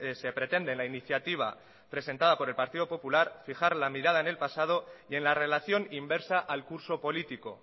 se pretende en la iniciativa presentada por el partido popular fijar la mirada en el pasado y en la relación inversa al curso político